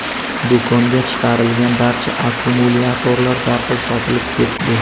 Do‘konga chiqarilgan barcha akkumulyatorlar darhol sotilib ketdi.